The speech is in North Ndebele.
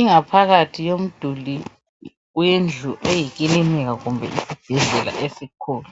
ingaphakathi yomduli wendlu eyikilinika kumbe isibhedlela esikhulu